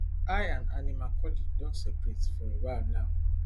i and annie macaulay don separate for a while now